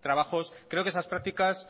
trabajos creo que esas prácticas